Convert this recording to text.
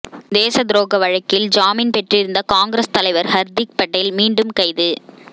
தேசத்துரோக வழக்கில் ஜாமீன் பெற்றிருந்த காங்கிரஸ் தலைவர் ஹர்திக் படேல் மீண்டும் கைது